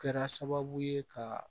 Kɛra sababu ye ka